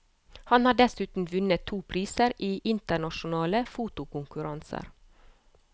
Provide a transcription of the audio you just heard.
Han har dessuten vunnet to priser i internasjonale fotokonkurranser.